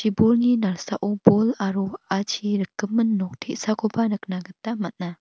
bolni nalsao bol aro wa·achi rikgimin nok te·sakoba nikna gita man·a.